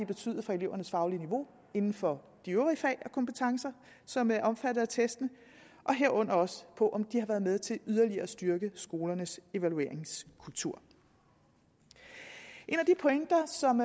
betydet for elevernes faglige niveau inden for de øvrige fag og kompetencer som er omfattet af testene og herunder også på om de har været med til yderligere at styrke skolernes evalueringskultur en af de pointer som